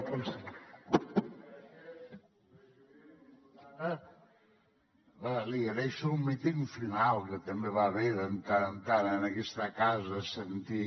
diputada li agraeixo el míting final que també va bé de tant en tant en aquesta casa sentir